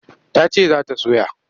Ta ce za ta soya.